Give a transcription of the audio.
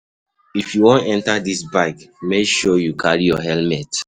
If you wan enter dis bike make sure you carry your helmet.